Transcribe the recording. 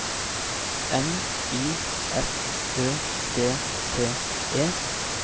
N Y F Ø D T E